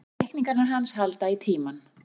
Teikningarnar hans halda í tímann.